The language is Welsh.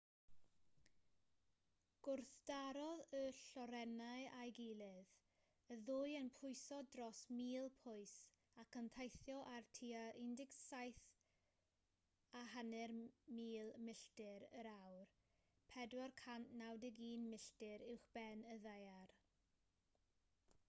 gwrthdarodd y lloerennau â'i gilydd y ddwy yn pwyso dros 1,000 pwys ac yn teithio ar tua 17,500 milltir yr awr 491 milltir uwchben y ddaear